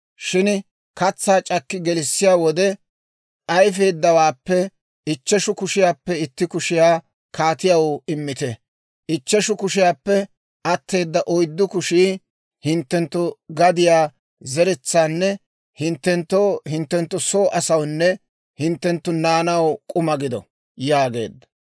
Shin katsaa c'akki gelissiyaa wode, ayfeeddawaappe ichcheshu kushiyaappe itti kushiyaa kaatiyaw immite. Ichcheshu kushiyaappe atteeda oyddu kushii hinttenttu gadiyaa zeretsaanne hinttenttoo, hinttenttu soo asawunne hinttenttu naanaw k'uma gido» yaageedda.